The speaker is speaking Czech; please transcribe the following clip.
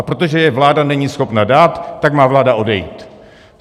A protože je vláda není schopna dát, tak má vláda odejít.